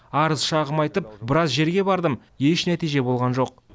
арыз шағым айтып біраз жерге бардым еш нәтиже болған жоқ